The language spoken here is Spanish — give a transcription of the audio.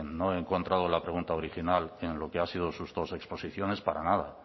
no he encuentrado la pregunta original en lo que ha sido sus dos exposiciones para nada